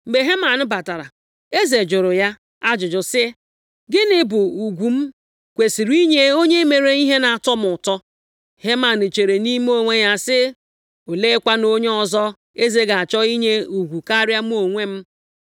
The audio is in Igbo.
Mgbe Heman batara, eze jụrụ ya ajụjụ sị, “Gịnị bụ ugwu m kwesiri inye onye mere ihe na-atọ m ụtọ?” Heman chere nʼime onwe ya sị, “Oleekwanụ onye ọzọ eze ga-achọ inye ugwu karịa mụ onwe m?”